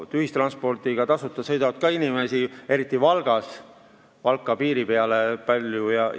Tasuta ühistranspordiga sõitvaid inimesi on ka palju, eriti Valka piiri peale sõidetakse.